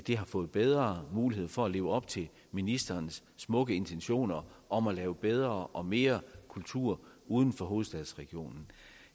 har fået bedre mulighed for at leve op til ministerens smukke intentioner om at lave bedre og mere kultur uden for hovedstadsregionen